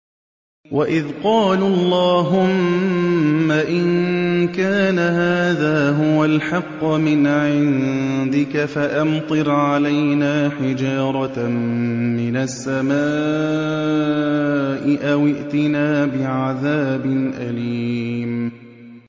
وَإِذْ قَالُوا اللَّهُمَّ إِن كَانَ هَٰذَا هُوَ الْحَقَّ مِنْ عِندِكَ فَأَمْطِرْ عَلَيْنَا حِجَارَةً مِّنَ السَّمَاءِ أَوِ ائْتِنَا بِعَذَابٍ أَلِيمٍ